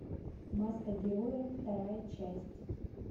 маска героя вторая часть